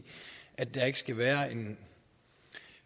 at der ikke skal være en